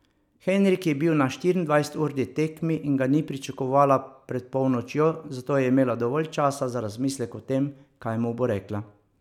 Henrik je bil na štiriindvajseturni tekmi in ga ni pričakovala pred polnočjo, zato je imela dovolj časa za razmislek o tem, kaj mu bo rekla.